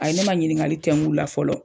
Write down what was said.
A ye ne ma ɲininkali tɛnkun la fɔlɔ.